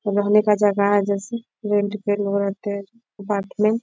रहने का जगह है जैसे रेंट पे लोग रहते है पार्टी में --